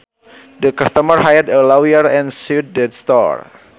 The customers hired a lawyer and sued the store